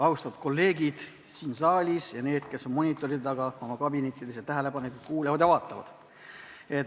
Austatud kolleegid siin saalis ning need, kes on monitoride taga oma kabinettides ja tähelepanelikult kuulavad ja vaatavad!